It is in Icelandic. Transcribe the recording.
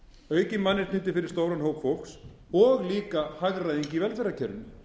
aukin mannréttindi fyrir stóran hóp fólks og líka hagræðing í velferðarkerfinu